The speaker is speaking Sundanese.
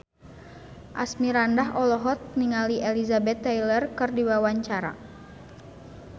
Asmirandah olohok ningali Elizabeth Taylor keur diwawancara